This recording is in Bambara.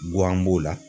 Guwan b'o la